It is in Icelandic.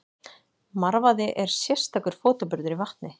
Marvaði er sérstakur fótaburður í vatni.